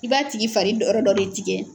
I b'a tigi fari dɔ yɔrɔ dɔ de tigɛ.